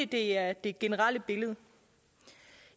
det er det generelle billede